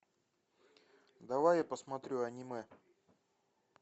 давай я посмотрю аниме